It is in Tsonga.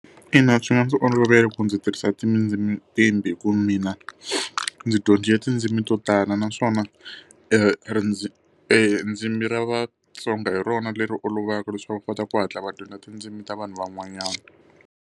Ina, swi nga ndzi olovela ku ndzi tirhisa hi ku mina ndzi dyondzile tindzimi to tala naswona ndzimi ra vatsonga hi rona leri olovaka leswaku va kota ku hatla va dyondza tindzimi ta vanhu van'wanyana.